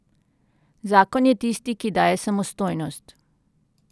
Zakon je tisti, ki daje samostojnost.